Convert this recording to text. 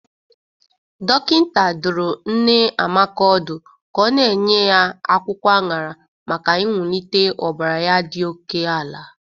Dọkịnta dụrụ nne Amaka ọdụ ka ọ na-enye ya akwụkwọ añara maka inwulite ọbara ya dị oke ala.